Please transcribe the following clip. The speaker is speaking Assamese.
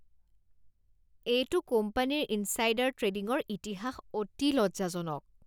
এইটো কোম্পানীৰ ইনছাইডাৰ ট্ৰেডিঙৰ ইতিহাস অতি লজ্জাজনক।